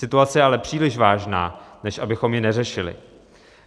Situace je ale příliš vážná, než abychom ji neřešili.